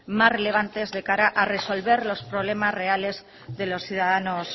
más relevantes de cara a resolver los problemas reales de los ciudadanos